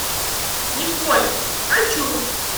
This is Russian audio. николь хочу